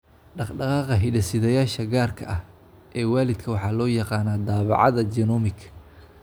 Dhaqdhaqaaqa hidde-sidayaasha gaarka ah ee waalidka waxaa loo yaqaannaa daabacaadda genomic.